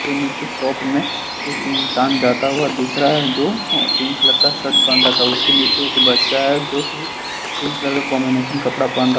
नीचे शॉप में एक इंसान जाता हुआ दिख रहा है जो पिंक कलर का शर्ट पहन रखा है उसके नीचे एक बच्चा है जो तीन कलर का कंबीनेशन कपड़ा पहन रखा--